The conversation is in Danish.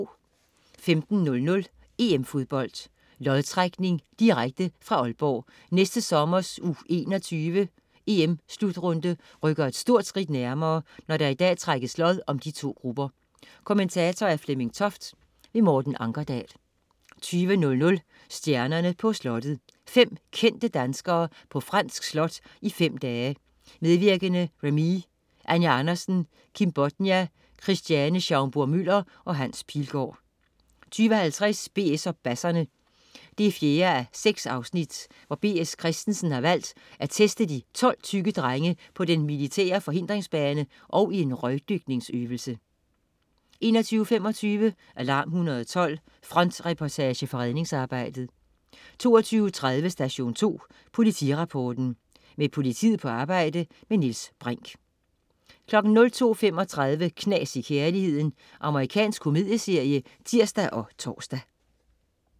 15.00 EM-Fodbold: Lodtrækning, direkte. Fra Aalborg. Næste sommers U21-EM-slutrunde rykker et stort skridt nærmere, når der i dag trækkes lod til de to grupper. Kommentator: Flemming Toft. Morten Ankerdal. 20.00 Stjernerne på slottet 3:5. Fem kendte danskere på fransk slot i fem dage. Medvirkende: Remee, Anja Andersen, Kim Bodnia, Christiane Schaumburg-Müller og Hans Pilgaard 20.50 BS og basserne 4:6. B.S. Christiansen har valgt at teste de 12 tykke drenge på den militære forhindringsbane og i en røgdykningsøvelse 21.25 Alarm 112. Frontreportage fra redningsarbejdet 22.30 Station 2 Politirapporten. Med politiet på arbejde. Niels Brinch 02.35 Knas i kærligheden. Amerikansk komedieserie (tirs og tors)